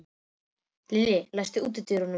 Lilli, læstu útidyrunum.